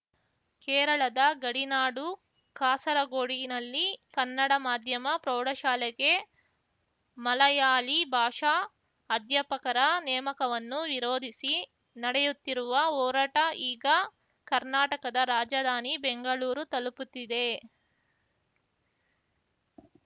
ಕೇರಳದ ಗಡಿನಾಡು ಕಾಸರಗೋಡಿನಲ್ಲಿ ಕನ್ನಡ ಮಾಧ್ಯಮ ಪ್ರೌಢಶಾಲೆಗೆ ಮಲಯಾಳಿ ಭಾಷಾ ಅಧ್ಯಾಪಕರ ನೇಮಕವನ್ನು ವಿರೋಧಿಸಿ ನಡೆಯುತ್ತಿರುವ ಹೋರಾಟ ಈಗ ಕರ್ನಾಟಕದ ರಾಜಧಾನಿ ಬೆಂಗಳೂರು ತಲುಪುತ್ತಿದೆ